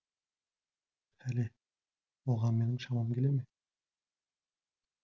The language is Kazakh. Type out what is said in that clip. пәле оған менің шамам келе ме